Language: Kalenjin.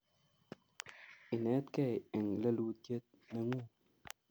Inetgei eng lelutiet nengung